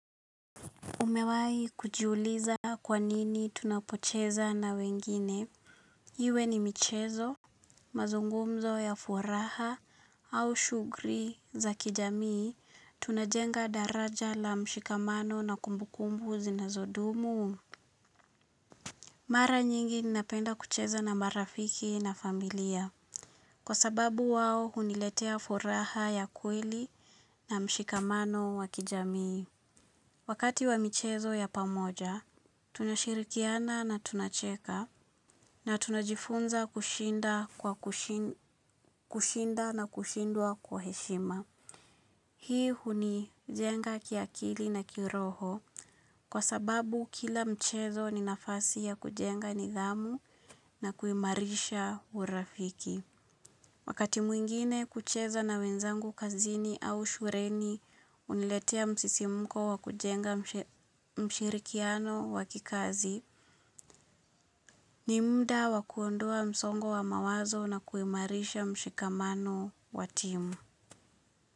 Umewai kujuliza kwanini tunapocheza na wengine. Iwe ni michezo, mazungumzo ya furaha au shugri za kijamii. Tunajenga daraja la mshikamano na kumbukumbu zinazodumu. Mara nyingi ninapenda kucheza na marafiki na familia. Kwa sababu wao huniletea furaha ya kweli na mshikamano wa kijamii. Wakati wa michezo ya pamoja, tunashirikiana na tunacheka na tunajifunza kushinda na kushindwa kwa heshima. Hii huni jenga kiakili na kiroho kwa sababu kila mchezo ni nafasi ya kujenga nidhamu na kuimarisha urafiki. Wakati mwingine kucheza na wenzangu kazini au shureni uniletea msisimuko wakujenga mshirikiano wa kikazi, ni muda wa kuondoa msongo wa mawazo na kuimarisha mshikamano wa timu.